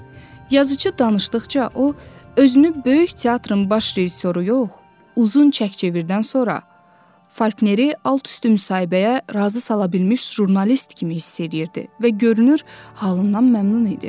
Yazıçı danışdıqca, o özünü böyük teatrın baş rejissoru yox, uzun çək-çevirdən sonra Falkneri alt-üstü müsahibəyə razı sala bilmiş jurnalist kimi hiss eləyirdi və görünür, halından məmnun idi.